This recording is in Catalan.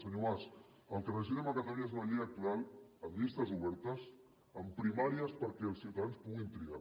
senyor mas el que necessitem a catalunya és una llei electoral amb llistes obertes amb primàries perquè els ciutadans puguin triar